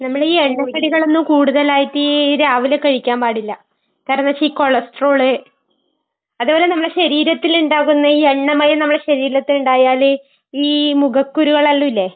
നമ്മടെ ഈ എണ്ണക്കടികളൊന്നും കൂടുതലായിട്ട് രാവിലെ കഴിക്കാൻ പാടില്ല. കാരണം എന്താണെന്ന് വെച്ചാൽ, ഈ കൊളെസ്ട്രോള്. അതുമല്ല നമ്മടെ ശരീരത്തില് ഇണ്ടാകുന്ന എണ്ണമയം നമ്മടെ ശരീരത്തിൽ ഉണ്ടായാല് ഈ മുഖക്കുരു വരില്ലേ.